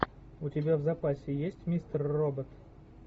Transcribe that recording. у тебя в запасе есть мистер робот